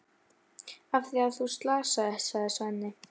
Af því að þú slasaðist, sagði Svenni.